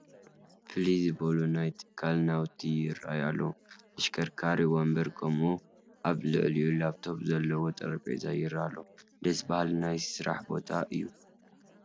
ፍልይ ዝበሉ ናይ ትካል ናውቲ ይርአዩ ኣለዉ፡፡ ተሽከርካሪ ወንበር ከምኡውን ኣብ ልዕሊኡ ላፕቶፕ ዘለዎ ጠረጴዛ ይርአዩ ኣለዉ፡፡ ደስ በሃሊ ናይ ስራሕ ቦታ እዩ፡፡